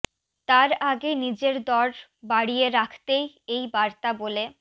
তার আগে নিজের দর বাড়িয়ে রাখতেই এই বার্তা বলে